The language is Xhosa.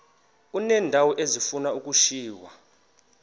uneendawo ezifuna ukushiywa